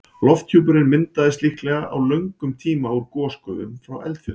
Lofthjúpurinn myndaðist líklega á löngum tíma úr gosgufum frá eldfjöllum.